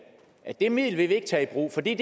at det middel vil vi ikke tage i brug for det er